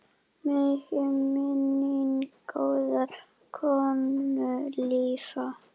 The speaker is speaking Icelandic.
Megi minning góðrar konu lifa.